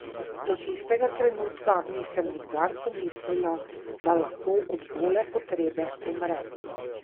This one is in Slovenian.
Do tistega trenutka nisem nikdar pomislila, da lahko od gole potrebe umrem.